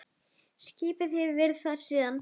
Skipið hefur verið þar síðan.